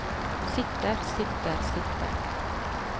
sitter sitter sitter